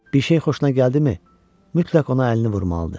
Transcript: Bir şey xoşuna gəldimi, mütləq ona əlini vurmalıdır.